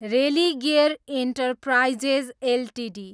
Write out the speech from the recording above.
Religare Enterprises Ltd